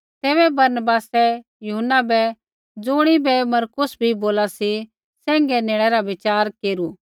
तैबै बरनबासै यूहन्ना बै ज़ुणिबै कि मरकुस बी बोला सी सैंघै नेणै रा विचार केरू